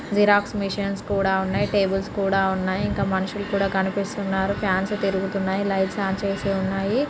Xerox machines కూడా ఉన్నాయి. Tables కూడా ఉన్నాయి. ఇంకా మనుషులు కూడా కనిపిస్తున్నారు. ఫాన్స్ తిరుగుతున్నాయి. లైట్స్ ఆన్ చేసి ఉన్నాయి.